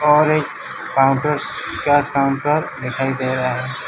और एक counters cash counter दिखाई दे रहा है।